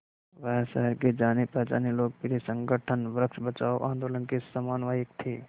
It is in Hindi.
वह शहर के जानेपहचाने लोकप्रिय संगठन वृक्ष बचाओ आंदोलन के समन्वयक थे